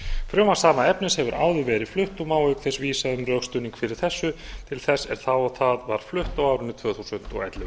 frumvarp sama efnis hefur áður verið flutt og má auk þess vísa um rökstuðning fyrir þessu til þess er það var flutt á árinu tvö þúsund og ellefu